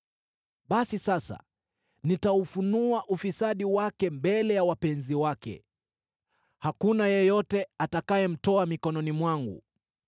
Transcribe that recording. Basi sasa nitaufunua ufisadi wake mbele ya wapenzi wake; hakuna yeyote atakayemtoa mikononi mwangu.